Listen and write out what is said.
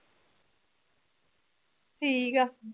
ਠੀਕ ਆ